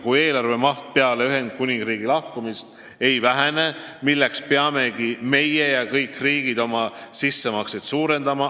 Kui eelarve maht peale Ühendkuningriigi lahkumist ei vähene, siis peamegi meie ja kõik teised riigid oma sissemakseid suurendama.